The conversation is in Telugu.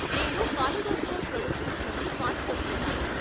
నేను కాలిడోస్కోప్ ప్రొడక్షన్స్ నుండి కాల్ చేస్తున్నాను.